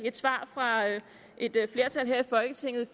et svar fra et flertal her i folketinget